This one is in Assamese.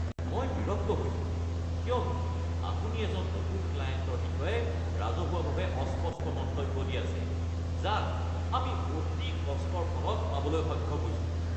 মই বিৰক্ত হৈছো কিয়নো আপুনি এজন নতুন ক্লায়েণ্টৰ বিষয়ে ৰাজহুৱাভাৱে অস্পষ্ট মন্তব্য দি আছে যাক আমি অতি কষ্টৰ ফলত পাবলৈ সক্ষম হৈছোঁ।